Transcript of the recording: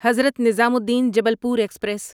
Hazrat Nizamuddin Jabalpur express